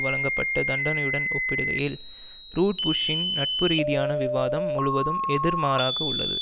வழங்கப்பட்ட தண்டனையுடன் ஒப்பிடுகையில் ரூட்புஷ்ஷின் நட்புரீதியான விவாதம் முழுவதும் எதிர்மாறாக உள்ளது